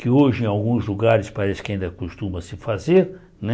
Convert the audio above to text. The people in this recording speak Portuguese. Que hoje em alguns lugares parece que ainda costuma se fazer, né?